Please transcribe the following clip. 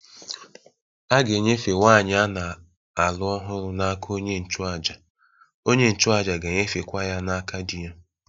A ga-enyefe nwanyị a na-alụ ọhụrụ n'aka onye nchụàjà, onye nchụàjà ga-enyefekwa ya n'aka di ya